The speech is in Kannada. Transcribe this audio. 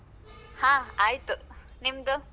ಹ ಆಯ್ತು ನಿಮ್ದು.